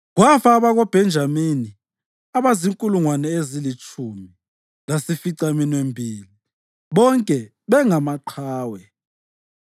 Kwafa abakoBhenjamini abazinkulungwane ezilitshumi lasificaminwembili, bonke bengamaqhawe.